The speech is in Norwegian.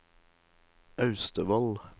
Austevoll